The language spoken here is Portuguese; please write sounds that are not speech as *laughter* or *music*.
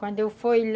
Quando eu *unintelligible*